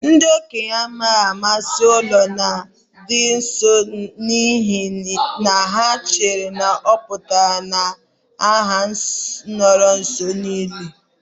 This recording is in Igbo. Ndị okenye anaghị amasị ụlọ ndị nọọsụ n'ihi na ha chere na ọ pụtara na ha nọru nso n'ili.